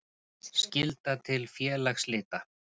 Skylda til félagsslita.